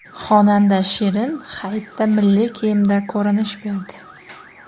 Xonanda Shirin Hayitda milliy kiyimda ko‘rinish berdi.